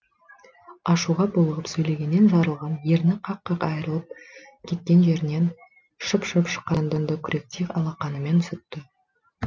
ашуға булығып сөйлегеннен жарылған ерні қақ қақ айырылып кеткен жерінен шып шып шыққан қанды күректей алақанымен сүртті